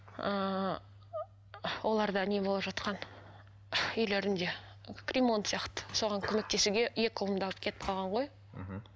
ыыы оларда не болып жатқан үйлерінде ремонт сияқты соған көмектесуге екі ұлымды алып кетіп қалған ғой мхм